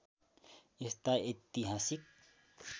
यस्ता ऐतिहासिक